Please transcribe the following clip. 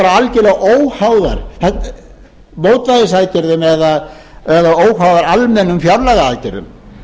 algjörlega óháðar mótvægisaðgerðum eða óháðar almennum fjárlagaaðgerðum þær áttu fyrst og fremst að vera til þess að hirða upp